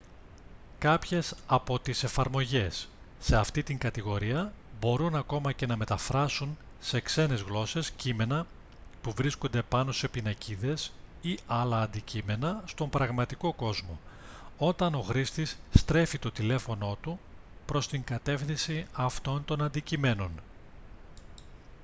κάποιες από τις εφαρμογές σε αυτή την κατηγορία μπορούν ακόμη και να μεταφράσουν σε ξένες γλώσσες κείμενα που βρίσκονται πάνω σε πινακίδες ή άλλα αντικείμενα στον πραγματικό κόσμο όταν ο χρήστης στρέφει το τηλέφωνό του προς την κατεύθυνση αυτών των αντικειμένων